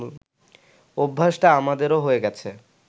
অভ্যাসটা আমাদেরও হয়ে গেছে